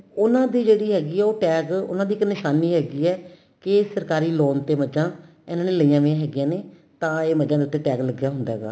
ਉਹਨਾ ਦੀ ਜਿਹੜੀ ਹੈਗੀ ਏ ਉਹ tag ਉਹਨਾਂ ਦੀ ਇੱਕ ਨਿਸ਼ਾਨੀ ਹੈਗੀ ਏ ਕੀ ਇਹ ਸਰਕਾਰੀ loan ਤੇ ਮਝਾ ਇਹਨਾ ਨੇ ਲਈਆਂ ਪਈਆਂ ਹੈਗੀਆਂ ਨੇ ਤਾਂ ਇਹ ਮਝਾ ਦੇ ਉਤੇ tag ਲੱਗਿਆ ਹੁੰਦਾ ਹੈਗਾ